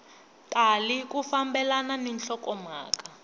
tali ku fambelana ni nhlokomhaka